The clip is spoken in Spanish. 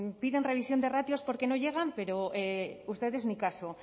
piden revisión de ratios porque no llegan pero ustedes ni caso